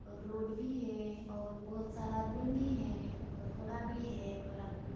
road भी हे और बहोत सारा आदमी मन भी हैं और घोड़ा भी हे घोड़ा